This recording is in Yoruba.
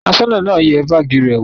Aṣọ́nà náà yẹ báágì rẹ wò?